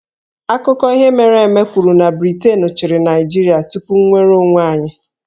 Akụkọ ihe mere eme kwuru na Briten chịrị Naịjirịa tupu nnwere onwe anyị